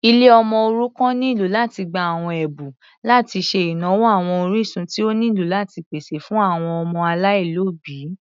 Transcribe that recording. Ilé ọmọ òrukàn nílò láti gbà àwọn Ẹ̀bùn láti ṣe ìnáwó àwọn orísun tí ó nílò láti pèsè fún àwọn ọmọ aláìlóbìí.